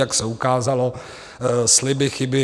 Jak se ukázalo, sliby, chyby.